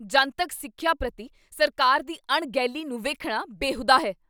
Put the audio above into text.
ਜਨਤਕ ਸਿੱਖਿਆ ਪ੍ਰਤੀ ਸਰਕਾਰ ਦੀ ਅਣਗਹਿਲੀ ਨੂੰ ਵੇਖਣਾ ਬੇਹੂਦਾ ਹੈ।